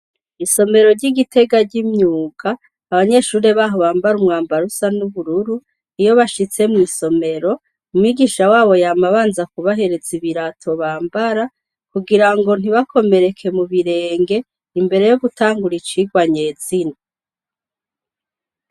Isomero ry'igitega ry'imyuga, abanyeshure baho bambara umwambaro usa n'ubururu, iyo bashitse mw'isomero, umwigisha wabo yama abanza kubahereza ibirato Bambara, kugira ngo ntibakomereke mubirenge, imbere yogutangura icigwa nyezina.